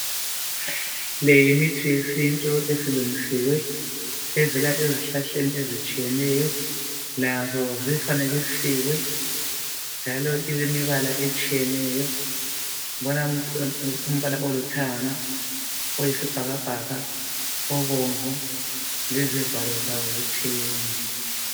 Le yimithi yesintu esilungisiwe, evela ezihlahleni ezitshiyeneyo, lazo zifanekisiwe, njalo kulemibala etshiyeneyo. Kulombala olithanga, obonvu, oyisibhakabhaka, lezivalo zawo zitshiyene.